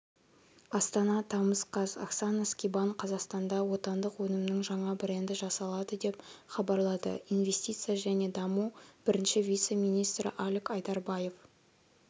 астана тамыз қаз оксана скибан қазақстанда отандық өнімнің жаңа бренді жасалады деп хабарлады инвестиция және даму бірінші вице-министрі алик айдарбаев